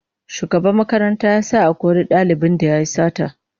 Shugaban makaranta ya sa a kori dalibin da yayi sata